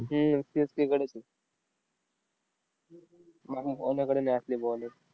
Ttwenty मध्ये. आणि आपली bowling सुधारली नाही तर अवघड world cup